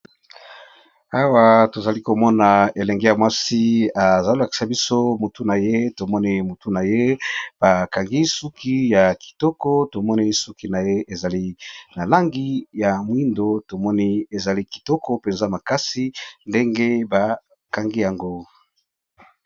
awa tozali komona elenge ya mwasi ezalolakisa biso mutu na ye tomoni mutu na ye bakangi suki ya kitoko tomoni suki na ye ezali na langi ya mwindo tomoni ezali kitoko mpenza makasi ndenge bakangi yango